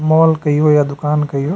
Mall कहियो या दुकान कहियो।